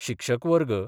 शिक्षक वर्ग